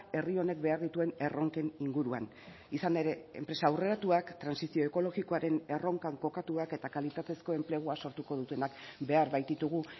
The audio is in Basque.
herri honek behar dituen erronken inguruan izan ere enpresa aurreratuak trantsizio ekologikoaren erronkan kokatuak eta kalitatezko enplegua sortuko dutenak behar baititugu